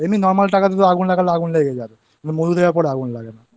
এমনি Normal টাকাতে তো আগুন লাগালে আগুন লেগে যায় কিন্তু মধু দেবার পর আগুন লাগে না হুম